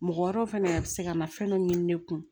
Mɔgɔ wɛrɛw fɛnɛ be se ka na fɛn dɔ ɲini ne kun